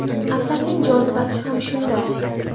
Asarning jozibasi ham shunda.